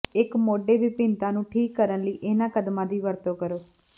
ਇੱਕ ਮੋਢੇ ਵਿਭਿੰਨਤਾ ਨੂੰ ਠੀਕ ਕਰਨ ਲਈ ਇਹਨਾਂ ਕਦਮਾਂ ਦੀ ਵਰਤੋਂ ਕਰੋ